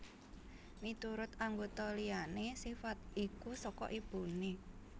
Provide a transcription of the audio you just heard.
Miturut anggota liyané sifat iku saka ibuné